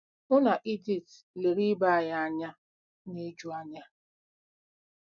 Mụ na Edith lere ibe anyị anya n'ijuanya.